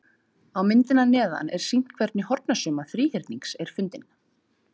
Á myndinni að neðan er sýnt hvernig hornasumma þríhyrnings er fundin.